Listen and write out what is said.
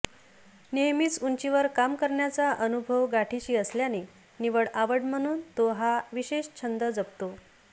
नेहमीच उंचीवर काम करण्याचा अनुभव गाठीशी असल्याने निव्वळ आवड म्हणून तो हा विशेष छंद जपतो